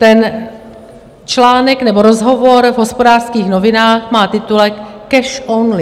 Ten článek nebo rozhovor v Hospodářských novinách má titulek Cash only.